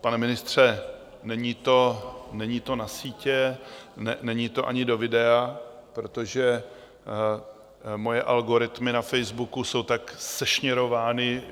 Pane ministře, není to na sítě, není to ani do videa, protože moje algoritmy na Facebooku jsou tak sešněrovány,